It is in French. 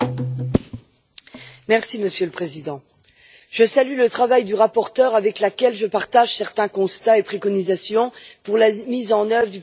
Monsieur le Président, je salue le travail de la rapporteure avec laquelle je partage certains constats et préconisations pour la mise en œuvre du programme Europe créative.